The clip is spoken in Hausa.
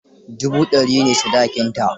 Dubu dari ne sadakinta.